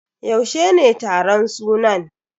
Yaushe ne taron sunan?